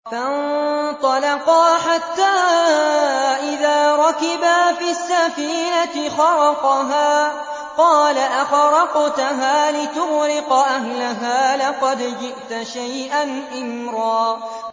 فَانطَلَقَا حَتَّىٰ إِذَا رَكِبَا فِي السَّفِينَةِ خَرَقَهَا ۖ قَالَ أَخَرَقْتَهَا لِتُغْرِقَ أَهْلَهَا لَقَدْ جِئْتَ شَيْئًا إِمْرًا